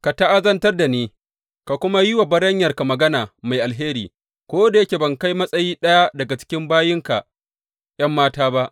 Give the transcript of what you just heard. Ka ta’azantar da ni ka kuma yi wa baranyarka magana mai alheri ko da yake ban kai matsayi ɗaya daga cikin bayinka ’yan mata ba.